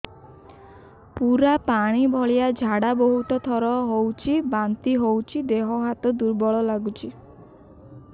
ପୁରା ପାଣି ଭଳିଆ ଝାଡା ବହୁତ ଥର ହଉଛି ବାନ୍ତି ହଉଚି ଦେହ ହାତ ଦୁର୍ବଳ ଲାଗୁଚି